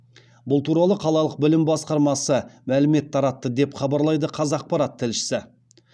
бұл туралы қалалық білім басқармасы мәлімет таратты деп хабарлайды қазақпарат тілшісі